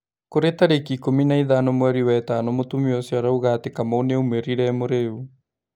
Kũrĩ tarĩki ikũmi na ithano mweri wetano mũtumia ũcio arauga atĩ Kamau nĩaumĩrire e mũrĩu.